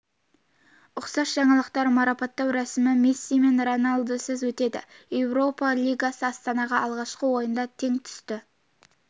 ұқсас жаңалықтар марапаттау рәсімі месси мен роналдусыз өтеді еуропа лигасы астанаға алғашқы ойында тең түсті ұқсас